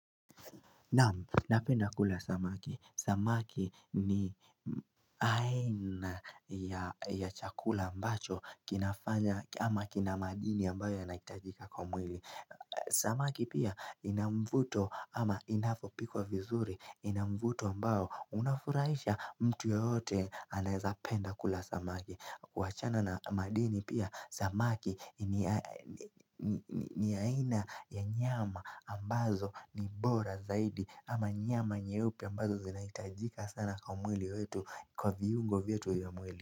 Naam, napenda kula samaki. Samaki ni aina ya chakula ambacho kinafanya ama kina madini ambayo yanahitajika kwa mwili. Samaki pia ina mvuto ama inapopikwa vizuri ina mvuto ambayo unafurahisha mtu yeyote anaezapenda kula samaki. Wachana na madini pia samaki ni aina ya nyama ambazo ni bora zaidi ama nyama nyeupi ambazo zinaitajika sana kwa mwili wetu kwa viungo vyetu ya mwili.